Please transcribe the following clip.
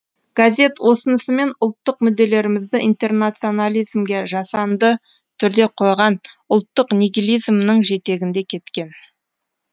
газет осынысымен ұлттық мүдделерімізді интернационализмге жасанды түрде қойған ұлттық нигилизмнің жетегінде кеткен